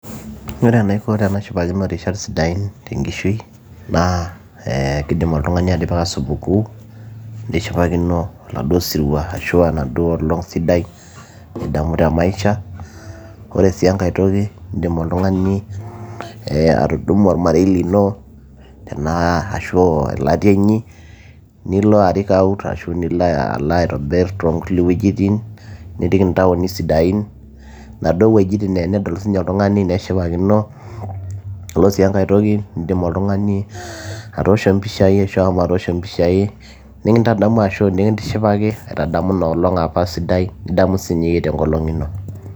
ore enaiko tenashipakino irishat sidain tenkishui naa kidim oltung'ani atipika supukuu nishipakino oladuo sirua ashu enaduo olong sidai nidamu te maisha ore sii enkay toki indim oltung'ani ee atudumu olmarei lino tenaa ashu elatia inyi nilo arik out ashu nilo alo aitobirr toonkulie wuejitin nirik intaoni sidain inaduo wuejitin naa tenedol siininye oltung'ani neshipakino yiolo sii enkae toki indim oltung'ani atoosho mpishai ashua ahomo atoosho mpishai nikintadamu ashu nikintishipaki aitadamu inoolong apa sidai nidamu siinye yie tenkolong ino.